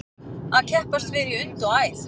Að keppast við í und og æð